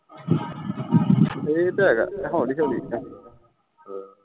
ਇਹ ਤੇ ਹੈਗਾ ਹੈ ਹੋਲੀ ਹੋਲੀ